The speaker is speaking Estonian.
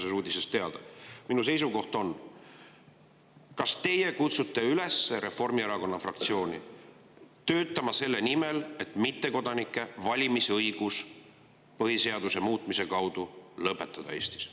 Minu on: kas teie kutsute üles Reformierakonna fraktsiooni töötama selle nimel, et mittekodanike valimisõigus Eestis põhiseaduse muutmise kaudu lõpetada?